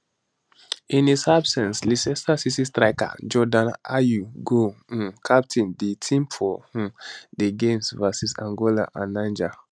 in his absence leicester city striker jordan ayew go um captain di team for um di games vs angola and niger